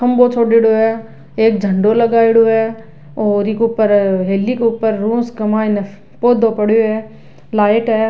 खम्भों छोड़ेड़ों है एक झंडो लगायड़ो है और इ के ऊपर हेली के ऊपर पौधों पड़यो है लाइट है।